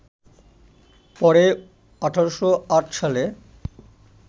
পরে ১৮০৮ সালে